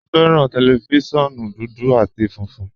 Mo fẹ́ran tẹlifísiọ̀nù dúdú àti fúnfun